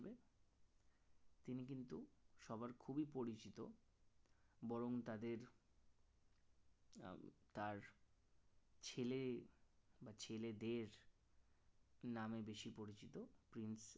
সবার খুবই পরিচিত বরং তাদের তার ছেলে বা ছেলেদের নামে বেশি পরিচিত